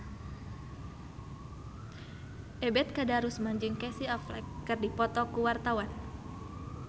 Ebet Kadarusman jeung Casey Affleck keur dipoto ku wartawan